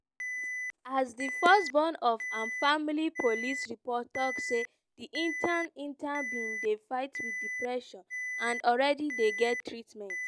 as di first born of im family police report tok say di intern intern bin dey fight wit depression and already dey get treatment.